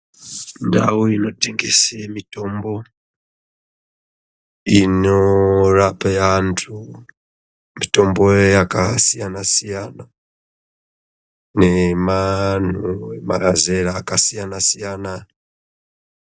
Ndau inotengese mitombo inorape antu. Mitombo yakasiyana-siyana nemazera akasiyana-siyana.